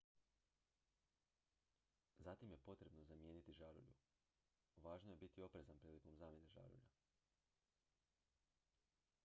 zatim je potrebno zamijeniti žarulju važno je biti oprezan prilikom zamjene žarulja